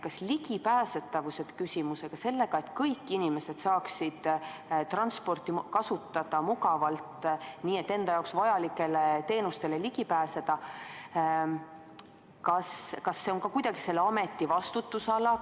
Kas ligipääsetavus, see, et kõik inimesed saaksid transporti mugavalt kasutada ja enda jaoks vajalikele teenustele ligi pääseda, on ka selle ameti vastutusala?